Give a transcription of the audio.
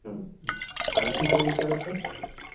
हं आणखी काही विचारायचं?